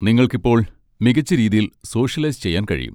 നിങ്ങൾക്ക് ഇപ്പോൾ മികച്ച രീതിയിൽ സോഷ്യലൈസ് ചെയ്യാൻ കഴിയും.